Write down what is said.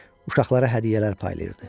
Uşaqlara hədiyyələr paylayırdı.